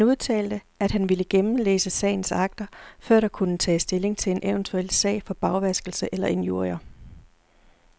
Han udtalte, at han ville gennemlæse sagens akter, før der kunne tages stilling til en eventuel sag for bagvaskelse eller injurier.